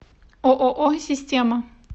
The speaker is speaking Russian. ооо система